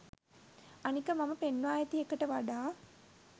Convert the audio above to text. අනික මම පෙන්වා ඇති එකට වඩා